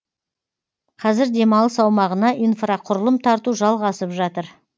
қазір демалыс аумағына инфрақұрылым тарту жалғасып жатыр